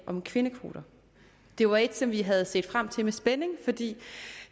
om kvindekvoter det var et som vi havde set frem til med spænding fordi